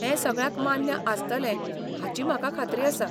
हें सगळ्यांक मान्य आसतलें हाची म्हाका खात्री आसा.